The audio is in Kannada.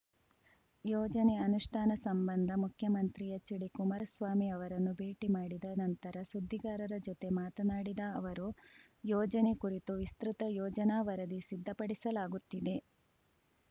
ಯೋಜನೆ ಅನುಷ್ಠಾನ ಸಂಬಂಧ ಮುಖ್ಯಮಂತ್ರಿ ಎಚ್‌ಡಿಕುಮಾರಸ್ವಾಮಿ ಅವರನ್ನು ಭೇಟಿ ಮಾಡಿದ ನಂತರ ಸುದ್ದಿಗಾರರ ಜೊತೆ ಮಾತನಾಡಿದ ಅವರು ಯೋಜನೆ ಕುರಿತು ವಿಸ್ತೃತ ಯೋಜನಾ ವರದಿ ಸಿದ್ಧಪಡಿಸಲಾಗುತ್ತಿದೆ